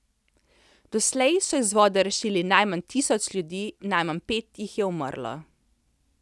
Doslej so iz vode rešili najmanj tisoč ljudi, najmanj pet jih je umrlo.